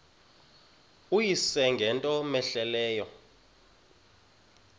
uyise ngento cmehleleyo